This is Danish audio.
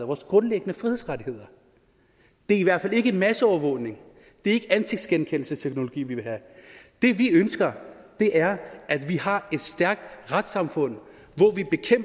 vores grundlæggende frihedsrettigheder det er i hvert fald ikke masseovervågning og det er ikke ansigtsgenkendelsesteknologi vi vil have det vi ønsker er at vi har et stærkt retssamfund